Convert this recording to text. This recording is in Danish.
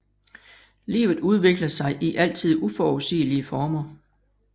Livet udvikler sig i altid uforudsigelige former